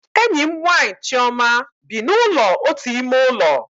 Enyi m nwaanyị Chioma bi na ụlọ otu ime ụlọ